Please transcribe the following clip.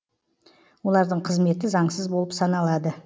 олардың қызметі заңсыз болып саналады